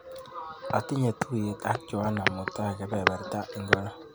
Atinye tuiyet ak John mutai kebeberta ingoro?